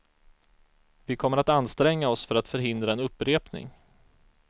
Vi kommer att anstränga oss för att förhindra en upprepning.